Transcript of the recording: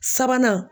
Sabanan